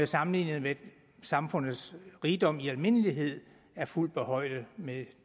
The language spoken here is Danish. sammenlignet med samfundets rigdom i almindelighed er fuldt på højde med